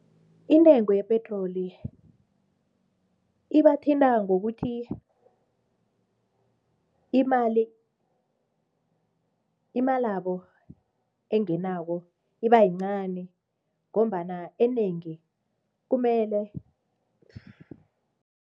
Intengo yepetroli ibathinta ngokuthi imalabo engenako ibayincani ngombana enengi kumele